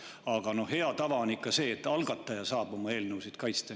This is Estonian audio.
Aga hea tava on ikka see, et algataja saab oma eelnõusid kaitsta.